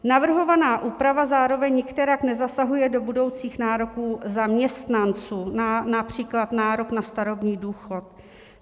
Navrhovaná úprava zároveň nikterak nezasahuje do budoucích nároků zaměstnanců, například nároku na starobní důchod.